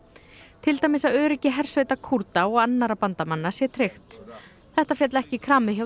til dæmis að öryggi hersveita Kúrda og annarra bandamanna sé tryggt þetta féll ekki í kramið hjá